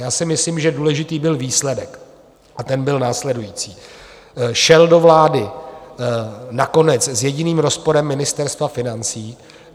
Já si myslím, že důležitý byl výsledek, a ten byl následující: šel do vlády nakonec s jediným rozporem Ministerstva financí.